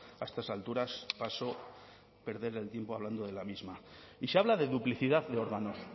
a estas alturas paso de perder el tiempo hablando de la misma y se habla de duplicidad de órganos